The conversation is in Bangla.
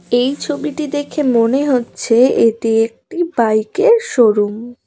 এই ছবিটি দেখে মনে হচ্ছে এটি একটি বাইকের শোরুম ।